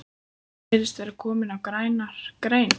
Þú virðist vera kominn á græna grein